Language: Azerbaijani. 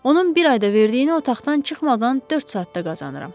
Onun bir ayda verdiyini otaqdan çıxmadan dörd saatda qazanıram.